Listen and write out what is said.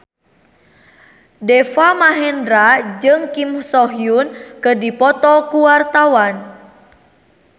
Deva Mahendra jeung Kim So Hyun keur dipoto ku wartawan